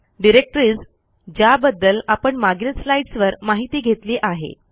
२डिरेक्टरीज ज्याबद्दल आपण मागील स्लाईड्स वर माहिती घेतली आहे